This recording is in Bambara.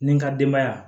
Ni n ka denbaya